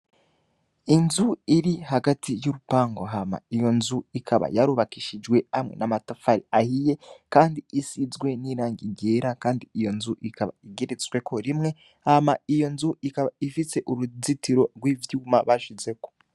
inzu irihagati yurupangu hama iyonzu ikaba yarubakishijwe hamwe n' amatafari ahiye kandi isizwe n'irangi ryera kandi iyonzu ikaba igeretsweko rimwe hama iyonzu ikaba ifise uruzitiro rwivyuma bashizeko.